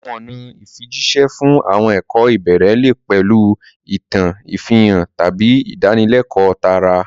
Àwọn ọ̀nà ìfijíṣẹ́ fún àwọn ẹ̀kọ́ ìbẹ̀rẹ̀ lè pẹ̀lú ìtàn, ìfihàn, tàbí ìdánilẹ́kọ̀ọ́ tààrà.